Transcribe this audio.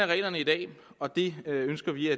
reglerne i dag og det ønsker vi